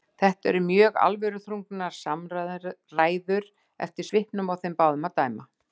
Þetta eru mjög alvöruþrungnar samræður eftir svipnum á þeim báðum að dæma.